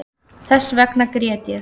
Þessvegna grét ég